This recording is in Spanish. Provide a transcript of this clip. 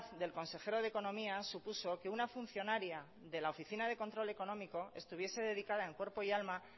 del consejero de economía supuso que una funcionaria de la oficina de control económico estuviese dedicada en cuerpo y alma